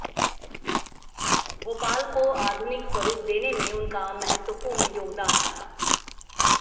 भोपाल को आधुनिक स्वरूप देने में उनका महत्वपूर्ण योगदान रहा